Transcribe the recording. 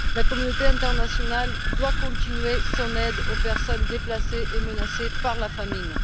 La communauté internationale doit continuer son aide aux personnes déplacées et menacées par la famine.